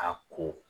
A ko